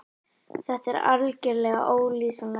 Þetta er algerlega ólýsanlegt.